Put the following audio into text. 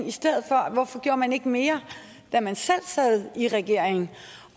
hvorfor gjorde man ikke mere da man selv sad i regering